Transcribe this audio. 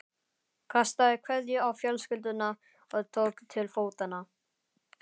Kastaði kveðju á fjölskylduna og tók til fótanna.